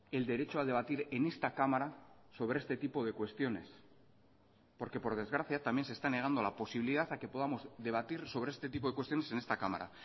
el derecho a debatir en esta cámara sobre este tipo de cuestiones porque por desgracia también se está negando la posibilidad a que podamos debatir sobre este tipo de cuestiones en esta cámara